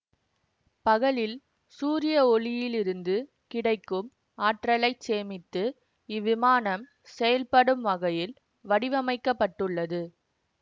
பகலில் சூரிய ஒளியிலிருந்து கிடைக்கும் ஆற்றலைச் சேமித்து இவ்விமானம் செயல்படும் வகையில் வடிவமைக்க பட்டுள்ளது